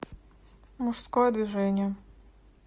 мужское движение